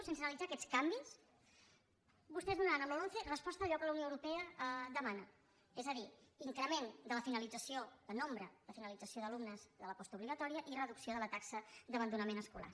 sense analitzar aquests canvis vostès donaran amb la lomce resposta a allò que la unió europea demana és a dir increment en nombre de la finalització d’alumnes de la postobligatòria i reducció de la taxa d’abandonament escolar